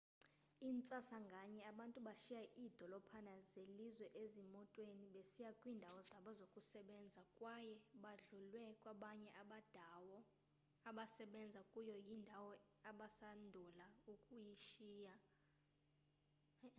intsasa nganye abantu bashiya iidolophana zelizwe ezimotweni besiya kwiindawo zabo zokusebenza kwaye badlulwe kwabanye abadawo abasebenza kuyo yindawo abasandula ukuyishiya